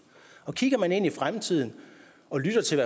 kigger vi ind i fremtiden og lytter til